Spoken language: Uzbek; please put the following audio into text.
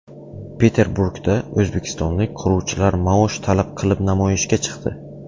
Peterburgda o‘zbekistonlik quruvchilar maosh talab qilib namoyishga chiqdi.